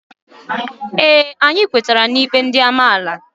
Ee, anyị kwetara n'ikpe ndị amaala